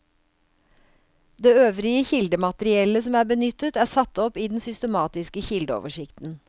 Det øvrige kildemateriellet som er benyttet, er satt opp i den systematiske kildeoversikten.